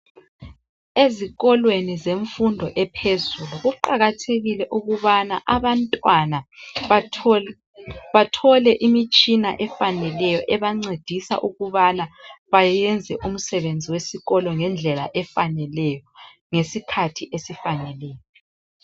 Ezikolweni zemfundo ephezulu kuqakathekile ukubana abantwana bathole imitshina etshiyeneyo ebancedisa ukubana bayenze umsebenzi wesikolo ngendlela efaneleyo, ngesikhathi esifaneleyo